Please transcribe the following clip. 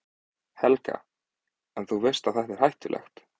Helga: En, þú veist að þetta er hættulegt?